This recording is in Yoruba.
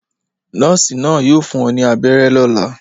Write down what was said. Nọ́ọ́sì náà yóò fún ọ ní abẹ́rẹ́ lọ́la.